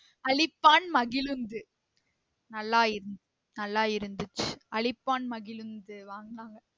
அழிப்பான் மகிழுந்து நல்லா இருந் நல்லா இருந்துச்சி அழிப்பான் மகிழுந்து வாங்குனாங்க